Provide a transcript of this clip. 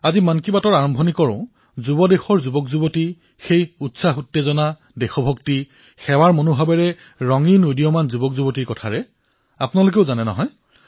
আজি মন কী বাতৰ আৰম্ভণি তৰুণ দেশৰ তৰুণ সেই উদ্দীপনা সেই দেশভক্তি সেই সেৱাৰ ৰঙত ৰঙীয়াল তৰুণসকল আপোনালোকে জানে নহয়